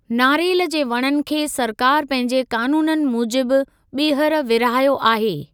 नारेल जे वणनि खे सरकार पंहिंजे क़ानूननि मूजिब ॿीहर विरिहायो आहे।